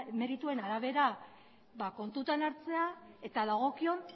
merituen arabera kontutan hartzea eta dagokion